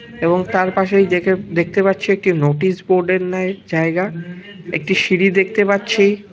এবং তার পাশেই দেখে দেখতে পাচ্ছি একটি নোটিশ বোর্ড ন্যায় এর জায়গা একটি সিঁড়ি দেখতে পাচ্ছি।